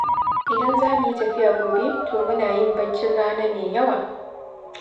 Idan za mu yi tafiya gobe, to muna yin baccin rana mai yawa.